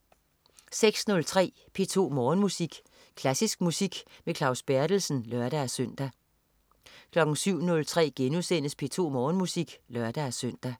06.03 P2 Morgenmusik. Klassisk musik med Claus Berthelsen (lør-søn) 07.03 P2 Morgenmusik* (lør-søn)